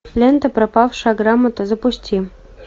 лента пропавшая грамота запусти